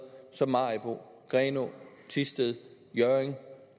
som maribo grenaa thisted hjørring